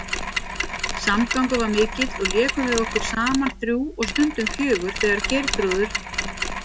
Samgangur var mikill og lékum við okkur saman þrjú og stundum fjögur þegar Geirþrúður